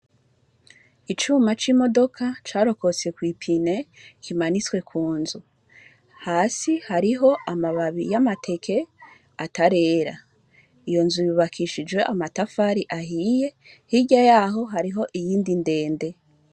Icuma c'imodoka carokotse kw'ipine kimanitswe ku nzu. Hasi hariho amabai y'amateke atarera. Iyo nzu yubakishijwe amatafari ahiye, hirya yaho hariho iyindi ndende.